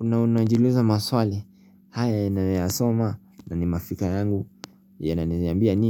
na unajiuliza maswali haya ninyoyasoma na ni mafika yangu yana ni ambia nini.